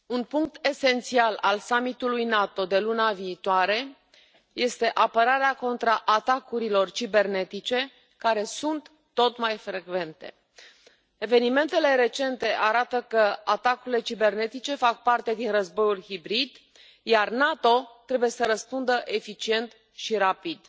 Domnule președinte, un punct esențial al summitului NATO de luna viitoare este apărarea contra atacurilor cibernetice, care sunt tot mai frecvente. Evenimentele recente arată că atacurile cibernetice fac parte din războiul hibrid, iar NATO trebuie să răspundă eficient și rapid.